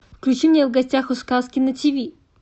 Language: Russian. включи мне в гостях у сказки на тв